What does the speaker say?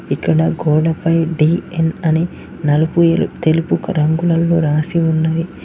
ఇక్కడ గోడ పై డి_యన్ అని నలుపు తెలుపు రంగులలో రాసి ఉన్నది.